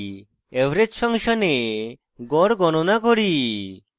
average ফাংশনে গড় গণনা করি